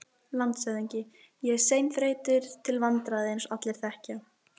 LANDSHÖFÐINGI: Ég er seinþreyttur til vandræða, eins og allir þekkja.